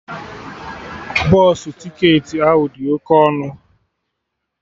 Bọsụ ticketị ahụ dị oke ọnụ